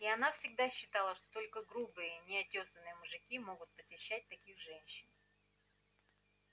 и она всегда считала что только грубые неотёсанные мужики могут посещать таких женщин